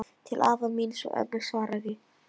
Til afa míns og ömmu svaraði